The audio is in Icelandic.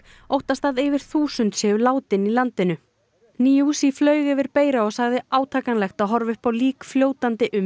óttast að yfir þúsund séu látin í landinu flaug yfir Beira og sagði átakanlegt að horfa upp á lík fljótandi um